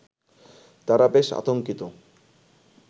তারা বেশ আতঙ্কিত